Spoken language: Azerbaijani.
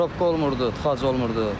Probka olmurdu, tıxac olmurdu.